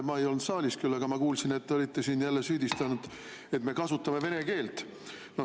Ma ei olnud küll saalis, aga ma kuulsin, et te olite siin jälle süüdistanud, et me kasutame vene keelt.